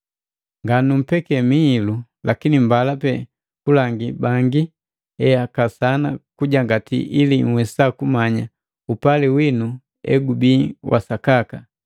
Nganumpeke mihilu, lakini mbala pe kulangi bangi eakasana kujangati ili nhwesa kumanya upali winu egubii wa sakaka.